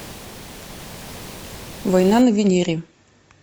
война на венере